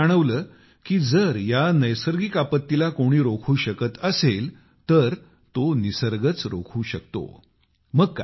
बिजय यांना जाणवले की जर या नैसर्गिक आपत्तीला कुणी रोखू शकत असेल तर तो निसर्गच रोखू शकतो